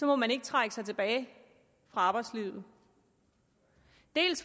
må man ikke trække sig tilbage fra arbejdslivet